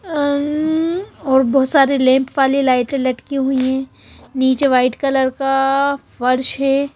अं और बहुत सारे लैंप वाली लाइटें लटकी हुई हैं नीचे व्हाईट कलर का फर्श है।